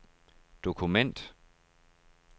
dokument